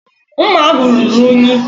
Mma ahụ ruru unyi.